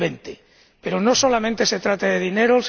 2020. Pero no solamente se trata de dinero